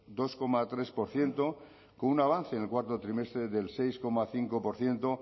dos coma tres por ciento con un avance en el cuarto trimestre del seis coma cinco por ciento